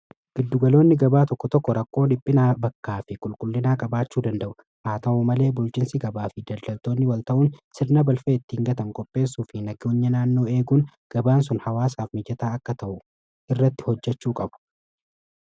Giddugaloonni gabaa tokko tokko rakkoo dhiphinaa bakkaa fi qulqullinaa qabaachuu danda'u . haa ta'u malee bulchinsi gabaa fi daldaltoonni wal ta'uun sirna balfaa ittiin gatan qopheessuu fi nageenya naannoo eeguun gabaan sun hawaasaaf mijataa akka ta'u irratti hojjechuu qabu.